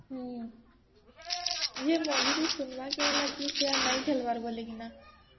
ମଝିରେ ଶୁଣିବାର କେ ହେଲା କି ସେ ଆଉ ନାଇଁ ଖେଳିବାର ବୋଲିକିନା